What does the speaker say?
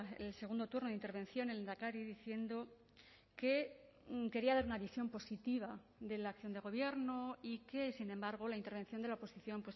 el segundo turno de intervención el lehendakari diciendo que quería dar una visión positiva de la acción de gobierno y que sin embargo la intervención de la oposición